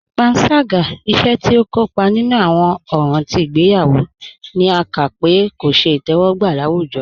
Pànságá, ìṣè tí ikópa nínu awọn òràn tí igbèyawo, ní à ká pé kò ṣẹ̀ itẹwọgba láwùjọ.